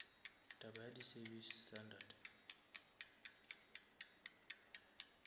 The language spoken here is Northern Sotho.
taba ya di service standard